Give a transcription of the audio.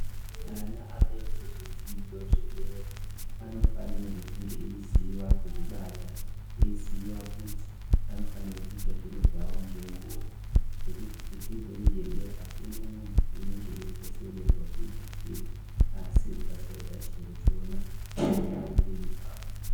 Ana anoite zvidzidzo zvedera anofanirwe kunge aiziva kuzvibata, aiziva kuti anofanirwe kuite zviro zvavo ngenguva. Ngekuti kudzidzo iyi yedera akuna munhu unonga eifoseredzwa kuite chiro asi ukasaite chiro chona zviri paupenyu hwako.